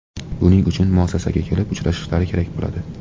Buning uchun muassasaga kelib uchrashishlari kerak bo‘ladi.